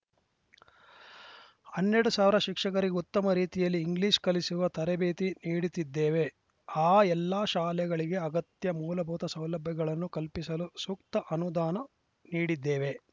ಹನ್ನೆರಡು ಸಾವಿರ ಶಿಕ್ಷಕರಿಗೆ ಉತ್ತಮ ರೀತಿಯಲ್ಲಿ ಇಂಗ್ಲೀಷ್‌ ಕಲಿಸುವ ತರಬೇತಿ ನೀಡುತ್ತಿದ್ದೇವೆ ಆ ಎಲ್ಲ ಶಾಲೆಗಳಿಗೆ ಅಗತ್ಯ ಮೂಲಭೂತ ಸೌಲಭ್ಯಗಳನ್ನು ಕಲ್ಪಿಸಲು ಸೂಕ್ತ ಅನುದಾನ ನೀಡಿದ್ದೇವೆ